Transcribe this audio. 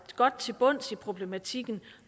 godt til bunds i problematikken